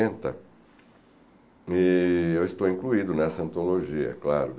E eu estou incluído nessa antologia, claro.